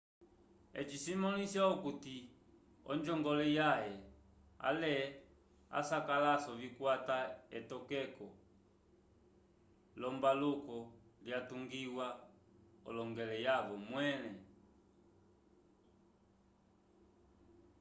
eci cimõlisa okuti onjongole yãhe ale asakalaso vikwate etokeko l'ombaluko lyatungiwa l'onjongole yavo mwẽle